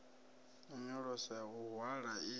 nyonyoloso ya u hwala i